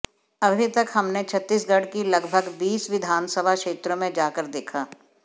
अभी तक हमने छत्तीसगढ़ की लगभग बीस विधानसभा क्षेत्रों में जा कर देखा